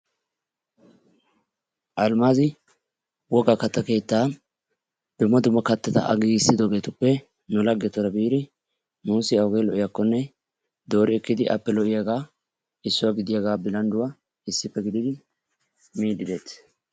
Alimaazi wogaa kattaa keettan dumma dumma kattata A giigissidoogetuppe nu laagetyura biidi nuusi awugee lo"iyaagaa appe dooridi nuusi lo"iyaagaa issuwa gidiyaagaa billandduwaa issippe giididi miidi deettees.